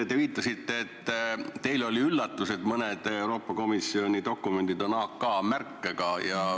Te viitasite, et teile oli üllatus, et mõned Euroopa Komisjoni dokumendid on AK märkega.